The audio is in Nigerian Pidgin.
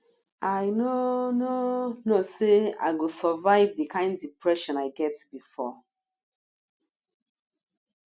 i no no know say i go survive the kin depression i get before